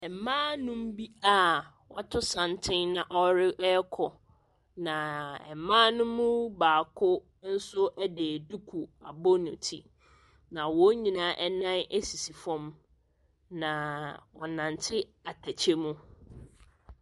Mmaa nnum bi a wɔato santene na wɔrekɔ. Na mmaa no mu baako nso de duku abɔ ne ti. Na wɔn nyinaa nan sisi fam. Na wɔrenante atɛkyɛ mu.